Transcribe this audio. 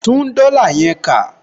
Tún dollar yẹn kà